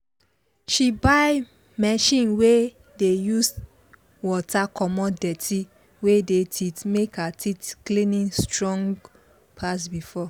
she buy machine wey dey use water comot dirty wey dey teeth make her teeth cleaning strong pass before